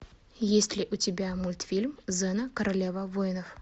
есть ли у тебя мультфильм зена королева воинов